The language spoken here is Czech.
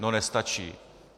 No, nestačí.